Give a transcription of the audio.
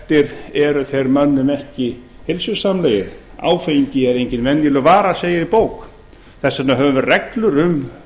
óheftir eru þeir mönnum ekki heilsusamlegir áfengi er engin venjuleg vara segir í bók þess vegna höfum við reglur um